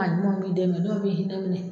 A ɲumanw bi dɛn kɛ dɔw b'i hinɛ minɛ